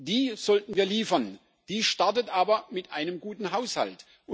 Die sollten wir liefern, die startet aber mit einem guten Haushalt.